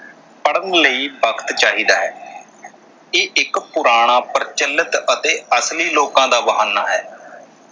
ਪੜ੍ਹਣ ਲਈ ਵਕਤ ਚਾਹੀਦਾ ਹੈ ਇਹ ਇੱਕ ਪੁਰਾਣਾ ਪ੍ਰਚਲਿਤ ਅਤੇ ਅਸਲੀ ਲੋਕਾਂ ਦਾ ਬਹਾਨਾ ਹੈ